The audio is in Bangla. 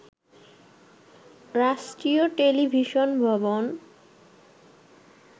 রাষ্ট্রীয় টেলিভিশন ভবন